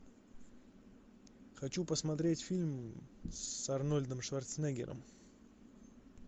хочу посмотреть фильм с арнольдом шварценеггером